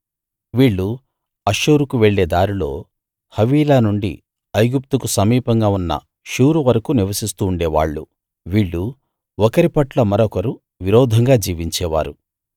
వీళ్ళు అష్షూరుకు వెళ్ళే దారిలో హవీలా నుండి ఐగుప్తుకు సమీపంగా ఉన్న షూరు వరకూ నివసిస్తుండే వాళ్ళు వీళ్ళు ఒకరి పట్ల మరొకరు విరోధంగా జీవించేవారు